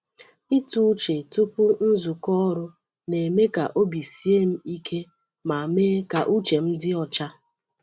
Ịtụ uche tupu nzukọ ọrụ na-eme ka obi sie m ike ma mee ka uche m dị ọcha.